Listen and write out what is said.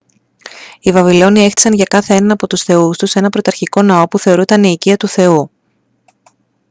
οι βαβυλώνιοι έχτισαν για κάθε έναν από τους θεούς τους έναν πρωταρχικό ναό που θεωρούταν η οικία του θεού